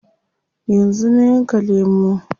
Yanzu na yanka lemu.